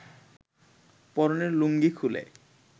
পরনের লুঙ্গি খুলে